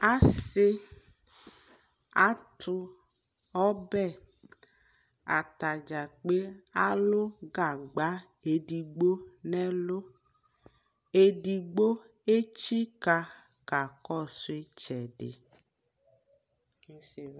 asii atʋ ɔbɛ, atagya kpei alʋ gagba ɛdigbɔ nʋ ɛlʋ, ɛdigbɔ ɛkyi ka kakɔsʋ ɛtsɛdi